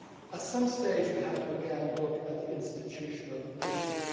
At some stage we have to again look at the institutional issues.